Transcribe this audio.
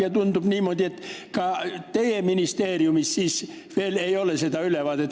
Ja tundub, et ka teie ministeeriumil ei ole veel seda ülevaadet.